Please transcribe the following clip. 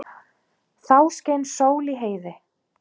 Þá skein sól í heiði.